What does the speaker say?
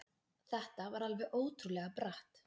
Þetta var alveg ótrúlega bratt.